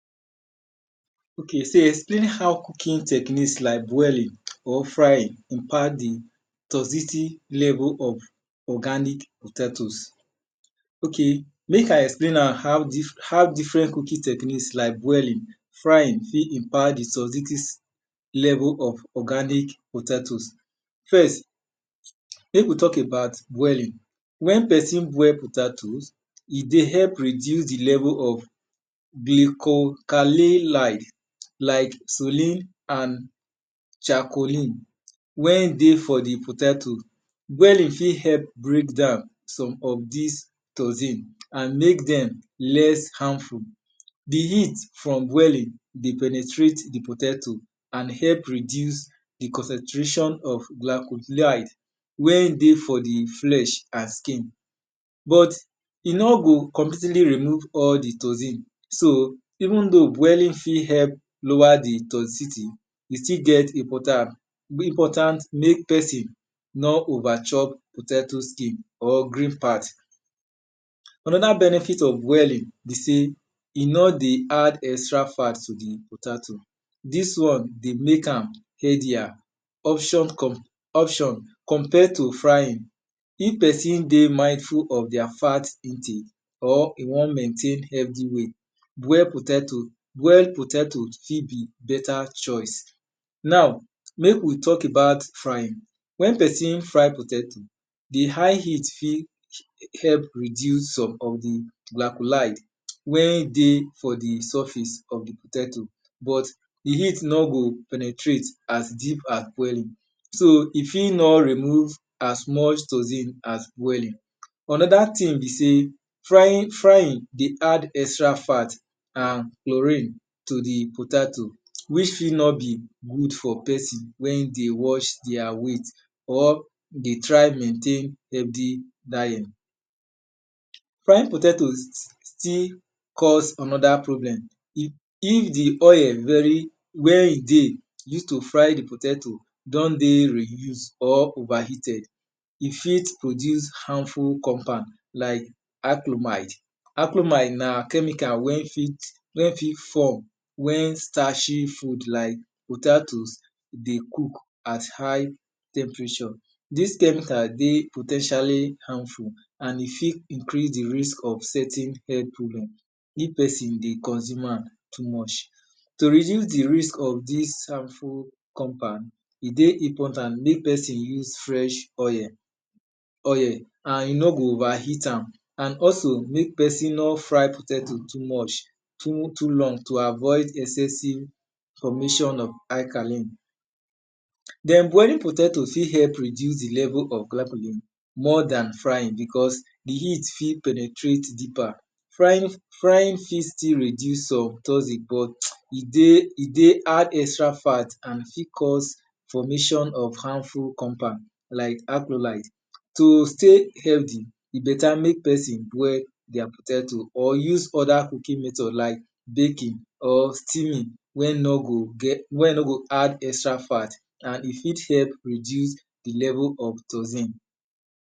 Explain how cooking techniques like boiling, or frying reduce di toxity level of organic potatoes. Ok mek I explain now how different cooking techniques like boiling, frying fit impared di toxity level of organic potatoes. First mek we talk about boiling, wen pesin boil potatoes, e dey help reduce di level of dechocalin like sullen and chacolin wen dey for d potato. Boiling fit help break down some of dis toxin and mek dem less harmful. Di heat from boiling dey penetrate di potato and help reduce di concentration of glacholide wen dey for di flesh and skin. But e nor go completely remove all di toxin. Even though boiling fit help lower di toity, e still get importance mek pesin nor over chop potato skin or green part. Anoda benefit of boiling be sey e no dey add extra fat to di potato, dis one dey mek am easier option compare to frying of pesin dey mightful of their fat or e won maintain healthy weight, boil potato fit be beta choice.now mek we talk about frying, wen pesin fry potato, di high heat fit help reduce some of di glacholide wen dey for di surface of di potato but di heat nor go penetrate as deep as boiling so e fit nor remove as much toxin as boiling. Onoda thing be sey frying dey add extra fat and chorin to di potato which fi no good for pesin wen dey watch their weight or dey try maintain heakthy diet. Fried potato still cause onoda problem if di oil wen dey use to fry di potato don dey reuse or over heated, e fit produce harmful compound like achlomide. Achlomide na chemical wen fit form wen starchy food like potato dey cook at high temperature. Dis chemical dey po ten tially harmful and e fit increase di risk of certain health problem if pesin dey consume am too much. Reducing di risk of dis harmful compound e dey important mek pesin use fresh oil and e nor go over heat am and also mek pesin not fry potato too long to avoid excessive formation of alchalin. Den boiling potato fit help reduce di level of glacholin more dan frying because di heat fit penetrate deeper. Frying fit still reduce some toxin but e dey add extra fat and fit ause formation of harmful compound like alcholide. To stay healthy, e beta mek pesin boil their potato or use othr cooking method like baking, or steaming wen no go add extra fat and e fit help reduce di level of toxin.